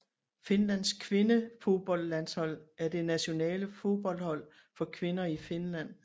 Finlands kvindefodboldlandshold er det nationale fodboldhold for kvinder i Finland